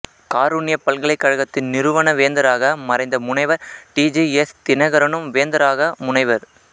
காருண்யா பல்கலைக்கழகத்தின் நிறுவன வேந்தராக மறைந்த முனைவர் டி ஜி எஸ் தினகரனும்வேந்தராக முனைவர்